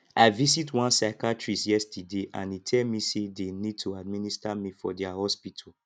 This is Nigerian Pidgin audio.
i visit one psychiatrist yesterday and e tell me say they need to administer me for their hospital